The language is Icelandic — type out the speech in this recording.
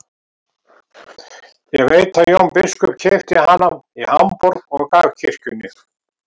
Ég veit að Jón biskup keypti hana í Hamborg og gaf kirkjunni.